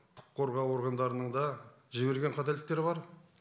құқық қорғау органдарының да жіберген қателіктері бар